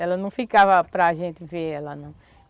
Ela não ficava para gente ver ela não.